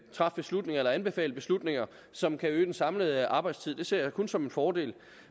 træffe beslutninger eller anbefale beslutninger som kan øge den samlede arbejdstid det ser jeg kun som en fordel